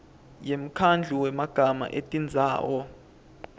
yemkhandlu wemagama etindzawo